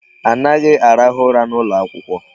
Anaghị arahụ ụra n'ụlọ akwụkwọ.